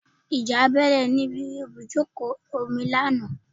Ìjà bẹ́ẹ́lẹ̀ níbi ibùdókọ̀ ojú omi lánàá